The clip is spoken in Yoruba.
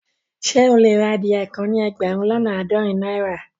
Ṣẹ e le rà adìyẹ́ kàn ní ẹgbérùn lọ́nà aádọ́rìn naira?